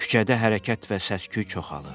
Küçədə hərəkət və səsküy çoxalır.